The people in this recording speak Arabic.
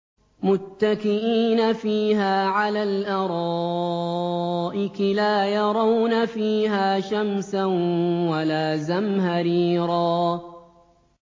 مُّتَّكِئِينَ فِيهَا عَلَى الْأَرَائِكِ ۖ لَا يَرَوْنَ فِيهَا شَمْسًا وَلَا زَمْهَرِيرًا